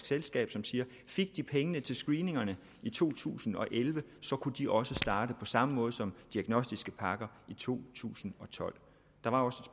selskab som siger fik de pengene til screeningerne i to tusind og elleve kunne de også starte på samme måde som diagnostiske pakker i to tusind og tolv der var